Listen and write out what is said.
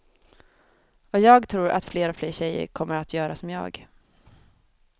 Och jag tror att fler och fler tjejer kommer att göra som jag.